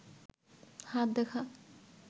হাত দেখা